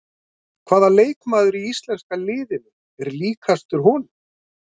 Hvaða leikmaður í íslenska liðinu er líkastur honum?